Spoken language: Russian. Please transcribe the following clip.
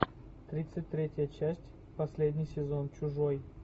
тридцать третья часть последний сезон чужой